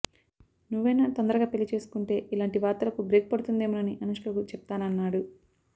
నువ్వైనా తొందరగా పెళ్లి చేసుకుంటే ఇలాంటి వార్తలకు బ్రేక్ పడుతుందేమోనని అనుష్కకు చెప్తానన్నాడు